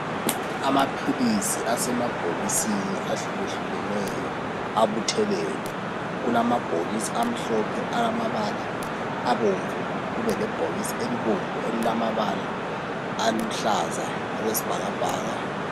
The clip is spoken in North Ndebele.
Amaphilisi asemabhokisini ahluke hlukeneyo abuthelelwe kulamabhokisi amhlophe alamabala abomvu kube lebhokisi elibomvu elilamabala aluhlaza okwesibhakabhaka.